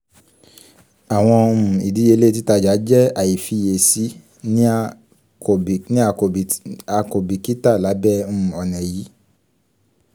awọn um idiyele titaja jẹ aifiyesi ni a labẹ um ọna yii